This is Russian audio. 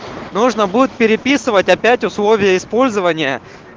нужно будет переписывать опять условия использования